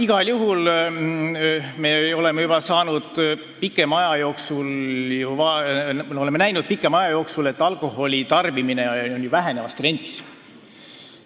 Igal juhul me oleme juba pikema aja jooksul näinud, et alkoholi tarbimine on langustrendis.